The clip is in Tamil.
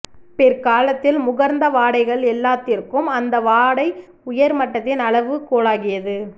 பிற்காலத்தில் முகர்ந்த வாடைகள் எல்லாத்திற்கும் அந்த வாடை உயர் மட்டத்தின் அளவு கோலாகியது